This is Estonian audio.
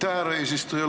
Aitäh, härra eesistuja!